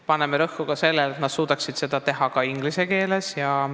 Paneme rõhku sellele, et nad suudaksid seda teha ka inglise keeles.